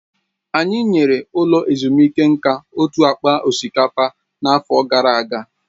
Anyị nyere ụlọ ezumike nka otu akpa osikapa n'afọ gara aga